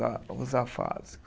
Os afásicos.